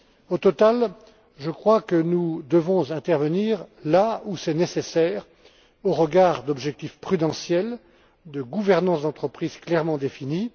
Au total, je crois que nous devons intervenir là où c'est nécessaire, au regard d'objectifs prudentiels et de gouvernance d'entreprise clairement définis.